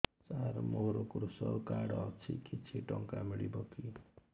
ସାର ମୋର୍ କୃଷକ କାର୍ଡ ଅଛି କିଛି ଟଙ୍କା ମିଳିବ କି